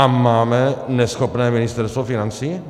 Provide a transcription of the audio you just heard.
A máme neschopné Ministerstvo financí?